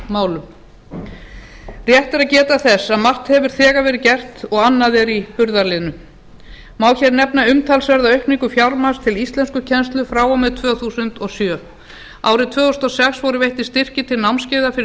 innflytjendamálum rétt er að geta þess að margt hefur þegar verið gert og annað er í burðarliðnum má hér nefna umtalsverða aukningu fjármagns til íslenskukennslu frá og með tvö þúsund og sjö árið tvö þúsund og sex voru veittir styrkir til námskeiða fyrir